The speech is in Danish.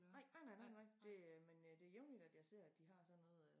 Nej nej nej nej det øh men øh det jævnligt at jeg ser at de har sådan noget øh